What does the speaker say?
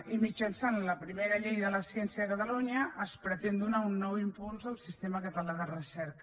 i mitjançant la primera llei de la ciència a catalunya es pretén donar un nou impuls al sistema català de recerca